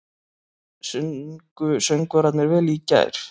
Sungu söngvararnir vel í gær?